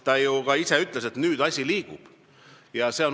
Ta ju ka ise ütles, et nüüd asi liigub.